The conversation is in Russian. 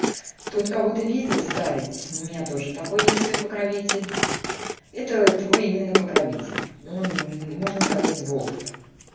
тут кого-то видел старец у меня тоже такой есть свой покровитель это твой именно покровитель он можно сказать волф